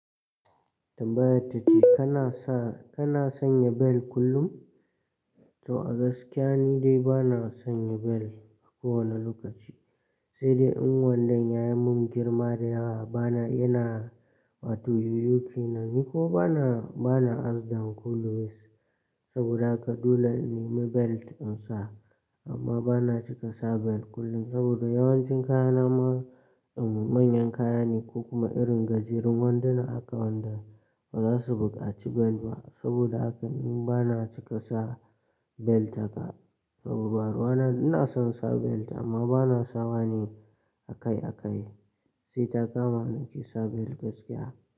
Tambayar ta ce kana sanya belt kullum? To a gaskiya ni dai bana sanya belt a kowane lokaci, sai dai in wandon ya yi mun girma da yawa bana yana matu yuyuki na ni ko bana, bana ass down kullum saboda haka dole ne muyi belt in sa amma bana cika sa belt kullum saboda yawancin kaya na manyan kaya ne ko kuma irin gajerun wanduna aka wandar bazasu buƙaci belt ba. Saboda haka ni bana cika sa belt haka, saboda ruwa ina son sa belt amma bana sawa ne a kai a kai sai ta kama ni ke sa belt gaskiya.